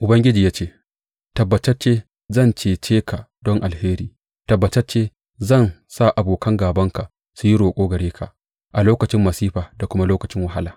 Ubangiji ya ce, Tabbatacce zan cece ka don alheri; tabbatacce zan sa abokan gābanka su yi roƙo gare ka a lokacin masifa da kuma lokacin wahala.